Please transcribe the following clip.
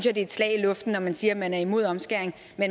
er et slag i luften når man siger at man er imod omskæring